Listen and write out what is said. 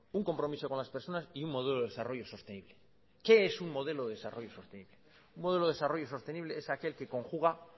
un compromiso con las personas y un modelo de desarrollo sostenible qué es un modelo de desarrollo sostenible un modelo de desarrollo sostenible es aquel que conjuga